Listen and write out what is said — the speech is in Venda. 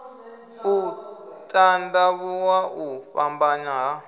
u tandavhuwa u fhambanya ha